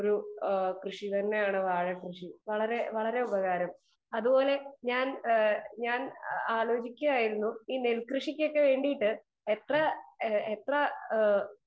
Speaker 2 ഒരു കൃഷി തന്നെയാണ് വാഴ കൃഷി. വളരെ ഉപകാരം അതേപോലെ ഞാൻ ആലോചിക്കുകയാണ് ഈ നെൽകൃഷിക്ക് ഒക്കെ വേണ്ടിയിട്ടു എത്ര